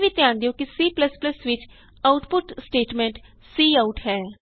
ਇਹ ਵੀ ਧਿਆਨ ਦਿਉ ਕਿ C ਵਿਚ ਆਉਟਪੁਟ ਸਟੇਟਮੈਂਟ ਕਾਉਟ ਹੈ